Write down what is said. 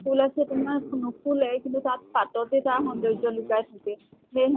ফুল আছে তোমাৰ নুফুলে কিন্তু তাত পাততে তাৰ সৌন্দৰ্য লুকাই থাকে। সেই